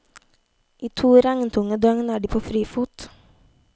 I to regntunge døgn er de på frifot.